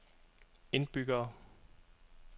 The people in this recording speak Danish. indbyggere